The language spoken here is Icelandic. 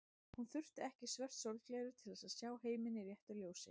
Hún þurfti ekki svört sólgleraugu til að sjá heiminn í réttu ljósi.